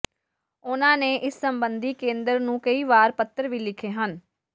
ਉਨ੍ਹਾਂ ਨੇ ਇਸ ਸਬੰਧੀ ਕੇਂਦਰ ਨੂੰ ਕਈ ਵਾਰ ਪੱਤਰ ਵੀ ਲਿਖੇ ਹਨ